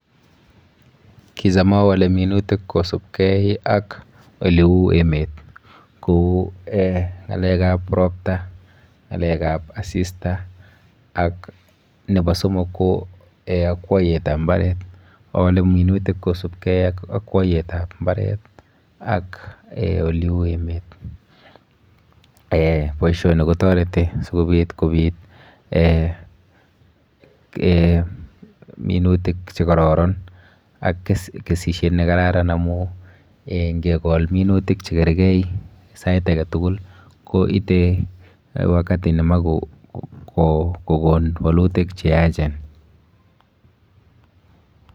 Kicham agole minutik kosupkey ak oleu emet, kou ng'alekab ropta, ng'alekab asista, ak nebo somok ko akwaiyetab mbaret. Agole minutik kosupkey ak akwaiyetab mbaret, ak oleu emet. Boisoni kotoreti, sikobit, kobiit minutik che kararan, ak kesishyet ne kararan, amu ngekol minutik che kergei sait age tugul, koite wakati nemach kogon walutik che yaachen